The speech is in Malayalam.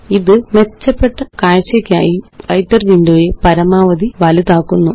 ഇത് മെച്ചപ്പെട്ട കാഴ്ചയ്ക്കായി വ്രൈട്ടർ വിൻഡോ യെ പരമാവധി വലുതാക്കുന്നു